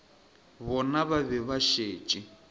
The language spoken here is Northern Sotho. bona ba be ba šetše